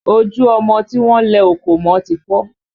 Ojú ọmọ tí wọ́n lẹ òkò mọ ti fọ́